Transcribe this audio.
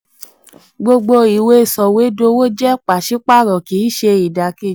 41. gbogbo ìwé soìwédowo jẹ́ pàṣípààrọ̀ kì í ṣe idakeji.